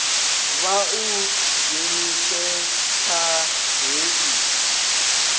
vha u dzhenise kha hei